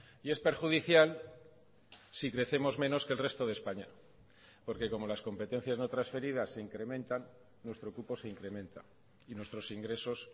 y es perjudicial si crecemos menos que el resto de españa porque como las competencias no transferidas se incrementan nuestro cupo se incrementa y nuestros ingresos